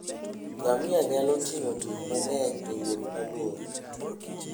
Ngamia nyalo ting'o gik mang'eny e wuoth mabor.